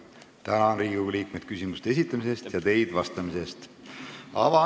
Tänan Riigikogu liikmeid küsimuste esitamise eest ja teid vastamise eest!